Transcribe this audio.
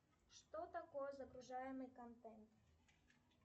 что такое загружаемый контент